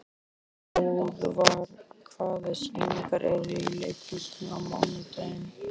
Hróðvar, hvaða sýningar eru í leikhúsinu á mánudaginn?